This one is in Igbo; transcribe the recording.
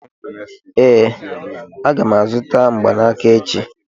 ee, aga m azụta mgbanaka echi